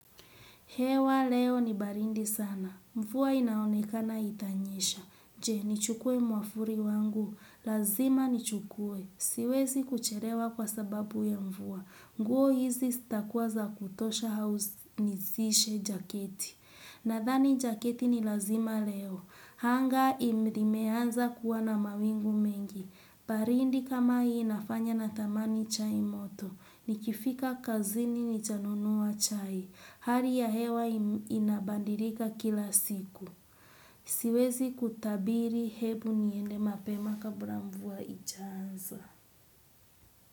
Hewa leo ni baridi sana. Mvua inaonekana itanyesha. Je, nichukue mwavuli wangu. Lazima nichukue. Siwezi kucherewa kwa sababu ya mvuwa. Nguo hizi zitakuwa za kutosha au nizishe jaketi. Nadhani jaketi ni lazima leo. Anga imeanza kuwa na mawingu mengi. Baridi kama hii inafanya natamani chai moto. Nikifika kazini nitanunua chai. Hali ya hewa inabadilika kila siku. Siwezi kutabiri hebu niende mapema kabla mvua haijaanza.